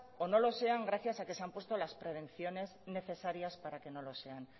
o no lo sean gracias a que se han puesto las prevenciones necesarias para que no lo sean